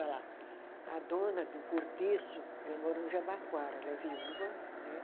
A a dona do Cortiço, ela mora no Jabaquara, ela é viúva, né?